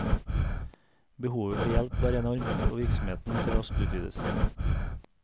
Behovet for hjelp var enormt, og virksomheten måtte raskt utvides.